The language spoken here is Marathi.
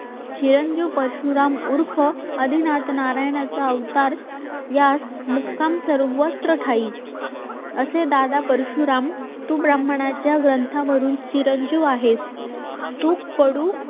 चिरंजीव परशुराम उर्फ आदिनाथ नारायणाचा अवतार यास मुक्काम सर्वत्र ठायी ही असे दादा परशुराम तू ब्राह्मणाच्या ग्रंथावरून चिरंजीव आहेत तूप कडू